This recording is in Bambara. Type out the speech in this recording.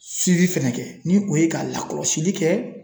siwi fɛnɛ kɛ ni o ye ka lakɔlɔsili kɛ